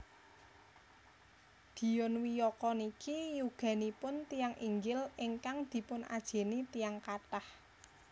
Dion Wiyoko niki yuganipun tiyang inggil ingkang dipun ajeni tiyang kathah